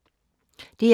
DR K